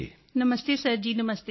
ਨਮਸਤੇ sir ji ਨਮਸਤੇ